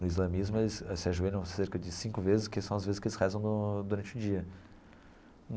No islamismo, eles eles se ajoelham cerca de cinco vezes, que são as vezes que eles rezam no durante o dia.